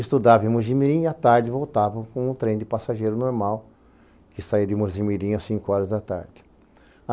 Estudava em Mogi mirim e à tarde voltava com um trem de passageiro normal que saía de Mogi mirim às cinco horas da tarde.